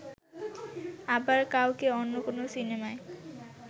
আবার কাউকে অন্য কোনো সিনেমায়